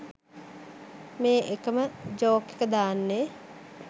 මේ එකම ජෝක් එක දාන්නේ?